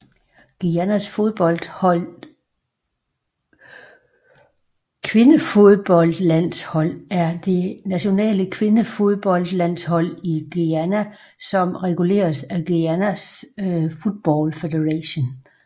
Guyanas kvindefodboldlandshold er det nationale kvindefodboldlandshold i Guyana som reguleres af Guyana Football Federation